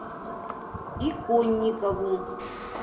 иконникову